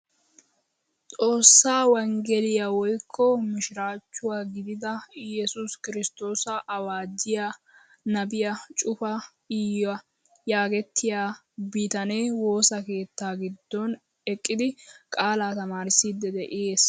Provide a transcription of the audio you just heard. Xoossaa wongeliyaa woykko mishirachchuwaa gidida iyesus kiristtoosa awaajjiyaa nabiyaa Cuufa Iya yagetettiyaa bitanee woossa keettaa giddon eqqidi qaalaa taamirissidi de'ees!